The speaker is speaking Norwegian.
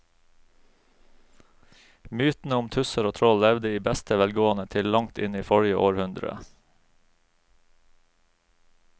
Mytene om tusser og troll levde i beste velgående til langt inn i forrige århundre.